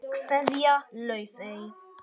Kveðja, Laufey.